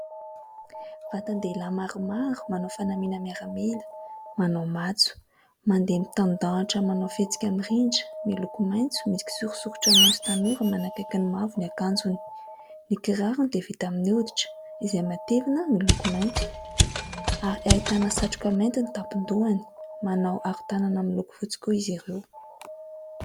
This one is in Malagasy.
Vatan-dehilahy maromaro, manao fanamiana miaramila, manao matso ; mandeha mitandahatra, manao fihetsika mirindra. Miloko maitso misy kisorasoratra maitso tanora, manakaiky ny mavo, ny akanjony. Ny kirarony dia vita amin'ny hoditra, izay matevina, miloko mainty ; ary ahitana satroka mainty ny tampon-dohany ; manao aron-tanana miloko fotsy koa izy ireo.